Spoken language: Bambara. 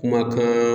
Kumakan